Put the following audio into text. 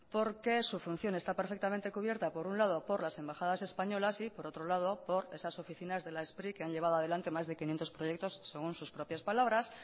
porque su función está perfectamente cubierta por un lado por las embajadas españolas y por otro lado por esas oficinas de la spri que han llevado adelante más de quinientos proyectos según sus propias palabras